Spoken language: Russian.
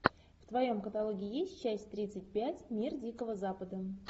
в твоем каталоге есть часть тридцать пять мир дикого запада